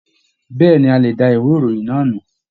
Bẹ̀ẹ́ni, a lè dá ìwé ìròyìn náà nù.